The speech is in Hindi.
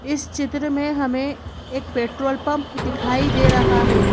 इस चित्र में हमें एक पेट्रोल पंप दिखाई दे रहा है।